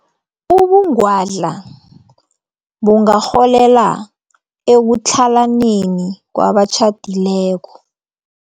Ubungwadla bungarholela ekutlhalaneni kwabatjhadileko.